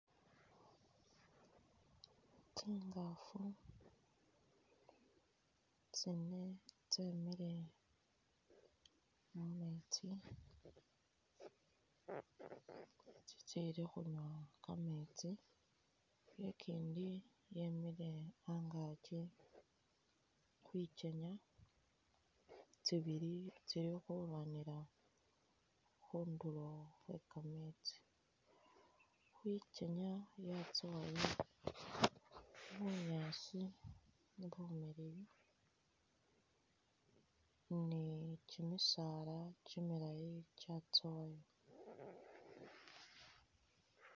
Tsingafu tsine tsemile mumetsi tsitsili khunya kametsi ikindi yemile angakyi khwikenya, tsibili tsili khulwanila khunduro khwekametsi khwikenya yatsowayo bunyaasi bumiliyu ni kyimisala kyimilayi kyatsowayo .